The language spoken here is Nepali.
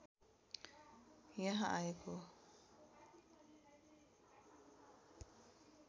यहाँ आएको